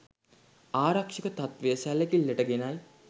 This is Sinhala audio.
ආරක්‍ෂක තත්ත්වය සැලකිල්ලට ගෙනයි